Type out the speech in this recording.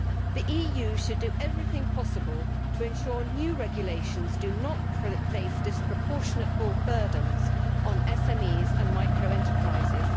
The EU should do everything possible to ensure that new regulations do not place disproportionate burdens on SMEs and micro enterprises.